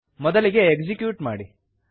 ಮೊದಲಿನಂತೆ ಎಕ್ಸಿಕ್ಯೂಟ್ ಮಾಡಿ